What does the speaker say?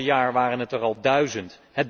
Het afgelopen jaar waren het er al duizend.